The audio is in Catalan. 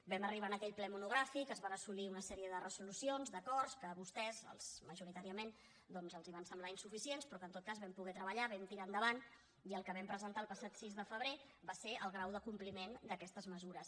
vam arribar en aquell ple monogràfic es van assolir una sèrie de resolucions d’acords que a vostès majoritàriament doncs els van semblar insuficients però que en tot cas vam poder treballar vam tirar endavant i el que vam presentar el passat sis de febrer va ser el grau de compliment d’aquestes mesures